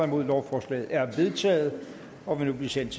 nul lovforslaget er vedtaget og vil nu blive sendt